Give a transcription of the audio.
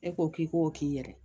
E ko k'i ko k'i yɛrɛ